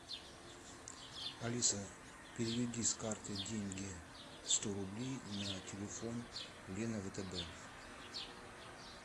алиса переведи с карты деньги сто рублей на телефон лена втб